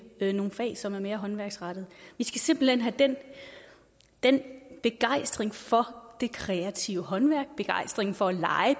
nogle fag som er mere håndværksrettede vi skal simpelt hen have den den begejstring for det kreative håndværk begejstringen for at